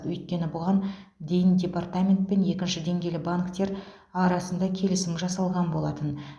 өйткені бұған дейін департамент пен екінші деңгейлі банктер арасында келісім жасалған болатын